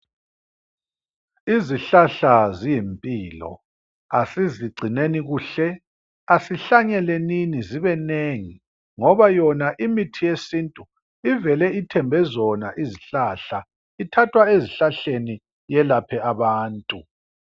Izihlahla ziyimpilo asizigcineni kuhle, asihlanyelenini zibenengi ngoba yona imithi yesintu ivele ithembe zona izihlahla. Ithathwa ezihlaleni yelaphe abantu.